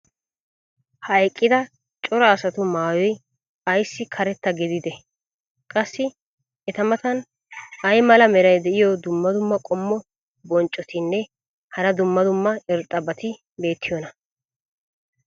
ha eqqida cora asatu maayoy ayssi karetta gididee? qassi eta matan ay mala meray diyo dumma dumma qommo bonccotinne hara dumma dumma irxxabati beetiyoonaa?